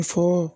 Muso